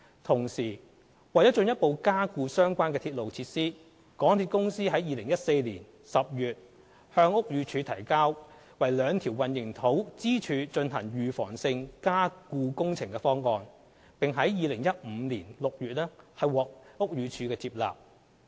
同時，為進一步加固相關鐵路設施，港鐵公司於2014年10月向屋宇署提交為兩條混凝土支柱進行預防性加固工程的方案，並於2015年6月獲屋宇署接納。